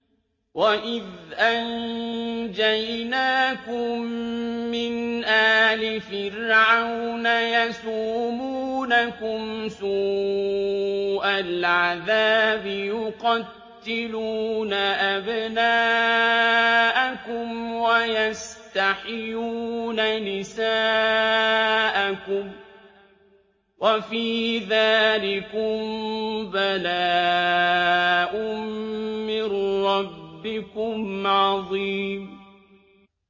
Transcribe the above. وَإِذْ أَنجَيْنَاكُم مِّنْ آلِ فِرْعَوْنَ يَسُومُونَكُمْ سُوءَ الْعَذَابِ ۖ يُقَتِّلُونَ أَبْنَاءَكُمْ وَيَسْتَحْيُونَ نِسَاءَكُمْ ۚ وَفِي ذَٰلِكُم بَلَاءٌ مِّن رَّبِّكُمْ عَظِيمٌ